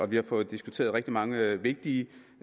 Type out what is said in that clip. vi har fået diskuteret rigtig mange vigtige